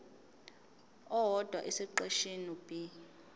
owodwa esiqeshini b